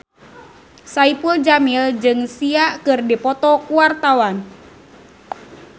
Saipul Jamil jeung Sia keur dipoto ku wartawan